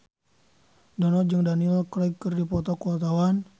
Dono jeung Daniel Craig keur dipoto ku wartawan